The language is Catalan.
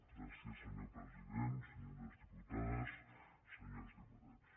gràcies senyor president senyores diputades senyors diputats